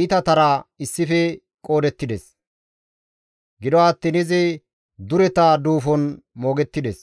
iitatara issife qoodettides; gido attiin izi dureta duufon moogettides.